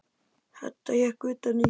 Edda hékk utan í.